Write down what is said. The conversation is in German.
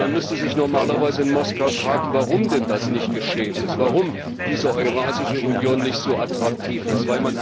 Und man müsste sich normalerweise in Moskau fragen, warum denn das nicht geschehen ist, warum diese Eurasische Union nicht so attraktiv ist.